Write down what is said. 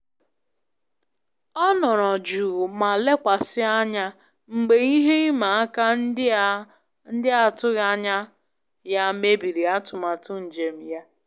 Ọ nọrọ jụụ ma lekwasị anya mgbe ihe ịma aka ndị a n'atụghị anya ya mebiri atụmatụ njem ya.